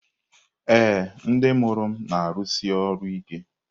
Ee, ndị mụrụ m na-arụsi ọrụ ike.